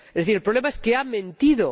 Es decir, el problema es que ha mentido.